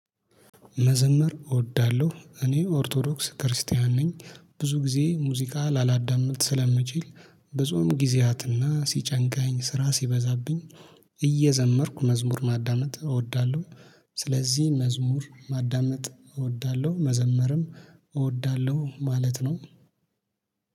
መዘመር እወዳለሁ እኔ ኦርቶዶክስ ክርስቲያን ነኝ። ብዙ ጊዜ ሙዚቃ ላላዳምጥ ስለምችል ብጾም ጊዜያትና ሲጨንቃኝ ስራ ሲበዛብኝ እየዘመርኩ መዝሙር ማዳመጥ እወዳለሁ። ስለዚህ መዝሙር ማዳመጥ እወዳለሁ መዘመርም እወዳለሁ ማለት ነው።